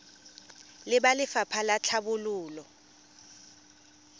le ba lefapha la tlhabololo